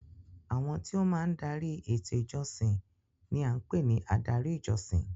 Àwọn tí ó máa ń dari eto ìjọsìn ni à ń pè ní adarí ìjọsìn.